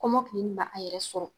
Kɔmɔkili na a yɛrɛ sɔrɔ